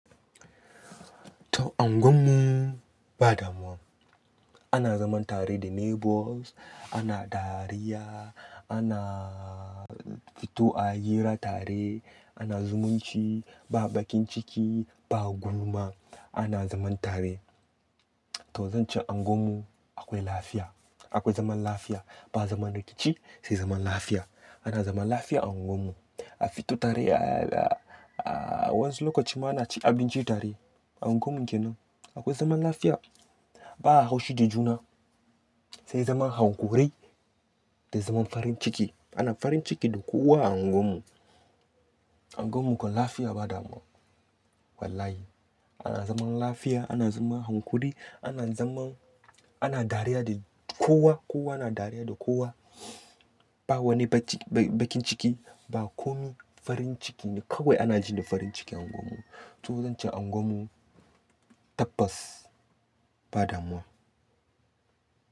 To, unguwar mu ba damuwa. Ana zaman tare da neighbours, ana dariya, ana fito a hira tare, ana zumunci, ba baƙin ciki, ba gulma, ana zaman tare. To, zan ce unguwar mu akwai lafiya, akwai zaman lafiya. Ba zaman rikici, sai zaman lafiya. Ana zaman tare da neighbours, ana dariya, ana fito a hira tare, ana zumunci, ba baƙin ciki, ba gulma, ana zaman tare. A fito tare, a wani lokacin ma ana ci abinci tare a unguwar mu kenan. Akwai zaman lafiya, ba haushi da juna, sai zaman hanƙuri da zaman farin ciki. Ana farin ciki da kowa a unguwar mu. Unguwar mu ko lafiya ba damuwa. Wallahi, ana zaman lafiya, ana zaman hankuri, ana zaman-- ana dariya da kowa, kowa na dariya da kowa. Ba wani baƙin ciki, ba komi, farin ciki ne kawai ana ji da farin ciki a unguwar mu. To, zan ce unguwar mu tabbas ba damuwa.